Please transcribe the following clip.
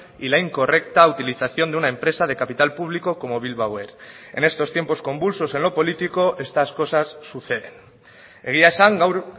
y la incorrecta utilización de una empresa de capital público como bilbao air en estos tiempos convulsos en lo político estas cosas suceden egia esan gaur